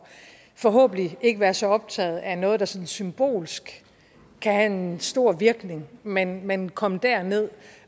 forhåbentlig ikke være så optaget af noget der sådan symbolsk kan have en stor virkning men men komme derned